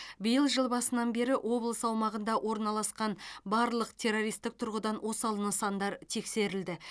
биыл жыл басынан бері облыс аумағында орналасқан барлық террористік тұрғыдан осал нысандар тексерілді